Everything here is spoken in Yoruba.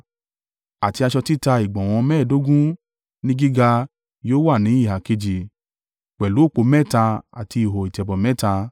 àti aṣọ títa ìgbọ̀nwọ́ mẹ́ẹ̀ẹ́dógún ní gíga yóò wá ní ìhà kejì, pẹ̀lú òpó mẹ́ta àti ihò ìtẹ̀bọ̀ mẹ́ta.